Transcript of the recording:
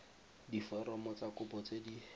diforomo tsa kopo tse di